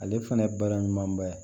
Ale fana ye baara ɲumanba ye